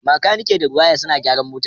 Makaniki da Rewire suna gyaran motar